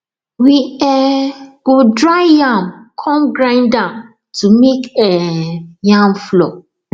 we um go dry yam come grind am to make um yam flour